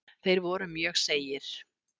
Þeir voru mjög seigir.